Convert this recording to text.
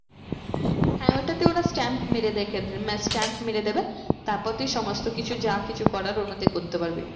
হ্যাঁ ওটাতে ওরা stamp মেরে stamp মেরে দেবে। তারপর তুই সমস্ত কিছু যা কিছু করার ওর মধ্যে করতে পারবি।